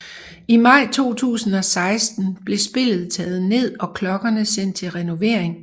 I maj 2016 blev spillet taget ned og klokkerne sendt til renovering